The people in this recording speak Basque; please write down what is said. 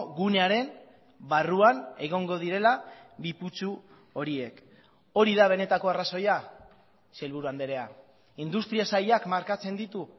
gunearen barruan egongo direla bi putzu horiek hori da benetako arrazoia sailburu andrea industria sailak markatzen ditu